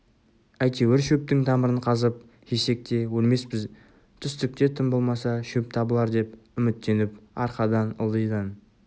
әйтеуір шөптің тамырын қазып жесек те өлмеспіз түстікте тым болмаса шөп табылар деп үміттеніп арқадан ылдидан